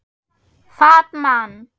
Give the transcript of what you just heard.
Fat Man